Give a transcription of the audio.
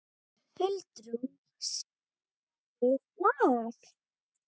Huldrún, spilaðu lag.